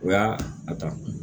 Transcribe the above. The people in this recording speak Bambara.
O y'a a ta